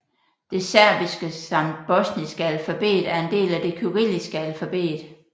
Det serbiske samt bosniske alfabet er en del af det kyrilliske alfabet